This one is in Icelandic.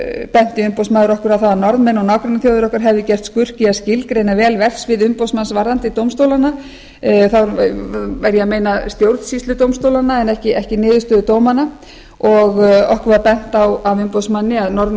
benti umboðsmaður okkur á að norðmenn og nágrannaþjóðir okkar hefðu gert skurk í að skilgreina vel verksvið umboðsmanns varðandi dómstólana þá var ég að meina stjórnsýsludómstólana en ekki niðurstöður dómanna okkur var bent á af umboðsmanni að norðmenn